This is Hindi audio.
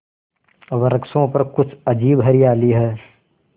वृक्षों पर कुछ अजीब हरियाली है